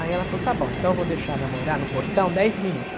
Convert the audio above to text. Aí ela falou, está bom, então eu vou deixar namorar no portão dez minutos.